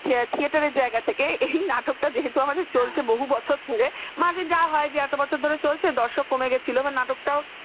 theater র জায়গা থেকে এই নাটকটা যেহেতু আমার চলছে বহু বছর ধরে মাঝে যা হয় এত বছর ধরে বলছি দর্শক কমে গেছিল নাটকটাও